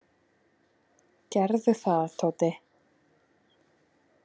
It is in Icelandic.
Gerðu það, Tóti!